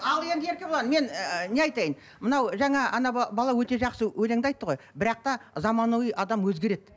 ал енді еркебұлан мен ыыы не айтайын мынау жаңа бала өте жақсы өлеңді айтты ғой бірақ та заманауи адам өзгереді